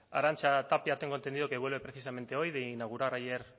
arantxa tapia tengo entendido que vuelve precisamente hoy de inaugurar ayer